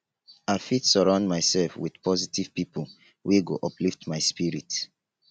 i fit surround myself with positive pipo wey go uplift my spirit